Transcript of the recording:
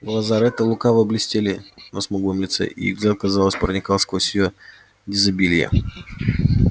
глаза ретта лукаво блестели на смуглом лице и их взгляд казалось проникал сквозь её дезабилье